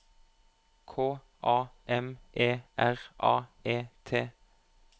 K A M E R A E T